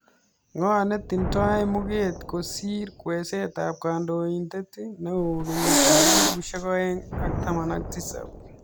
Ng'o ne tindoi muget kosir kweeset ap kandoindet neo kenyit ap 2017.